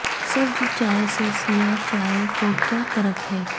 سبز چائے سے سیاہ چائے کو کیا فرق ہے